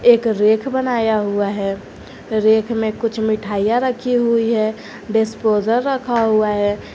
एक रैक बनाया हुआ है रैक में कुछ मिठाइयां रखी हुई है डिस्पोजर रखा हुआ है।